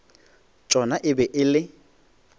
tšona e be e le